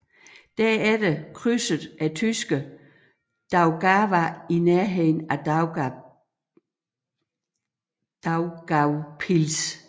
Derefter krydsede tyskerne Daugava i nærheden af Daugavpils